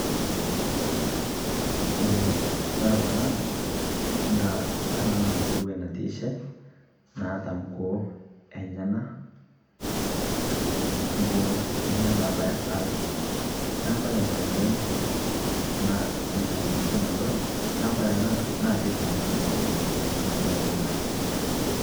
kore kunaa naaa, kore anaa naa nkuruwee natiishe, naata nkuo enyanaa ,nkuo enyanaa nabayaa saaal naa kore tenee. tanaa siii saal duake nadooyo. naa kore ana tene keitanakita ana kuruwee kuna kuo enyanaa.